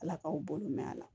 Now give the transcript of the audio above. Ala k'aw balo mɛn a la